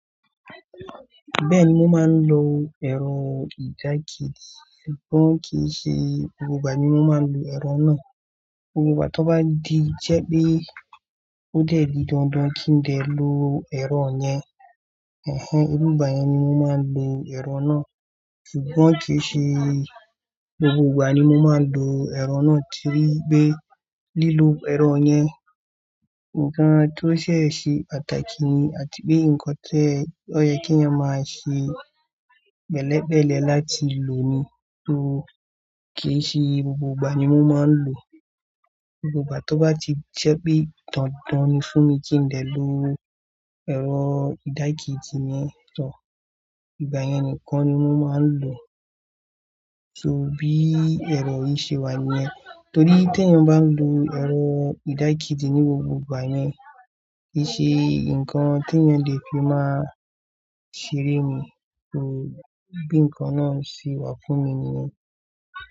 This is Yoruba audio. Bẹ́ẹ̀ni, mo máa ń lo ẹ̀rọ ìdákéedì, ṣùgbọ́n kì í ṣe gbogbo ìgbà ni mo máa ń lo ẹ̀rọ náà. Ìgbà tó bá di jẹ́ pé ó dẹ̀ ti dandan kí n lè lo ẹ̀rọ yẹn, irú ìgbà yẹn ni mo máa ń lo ẹ̀rọ náà. Ṣùgbọ́n kì í ṣe gbogbo ìgbà ni mo máa ń lo ẹ̀rọ náà torí pé lílo ẹ̀rọ yẹn, ǹkan tó ṣẹ̀ ṣe pàtàkì ni àti pé nǹkan tó yẹ kí wọn máa ṣe pẹ́lẹ̀ pẹ́lẹ̀ẹ̀ láti lò ni. So ki i se gbogbo ìgbà ní mo maa n lo gbogbo ìgbà tó bá ti jẹ́ pé dandan ni fún mi kí n dè lo ẹ̀rọ ìdákéèdì yẹn, ìgbà yẹn nìkan ni mo máa ń lò ó. So bi ero yìí se wa niyen. Torí t'eeyan bá n lo ẹ̀rọ ìdákéèdì ní gbogbo ìgbà yen, kì í ṣe ǹkan tí eeyan ọ̀ lè fi máa ṣeré ni bi nǹkan náà se wà fún mi nìyẹn.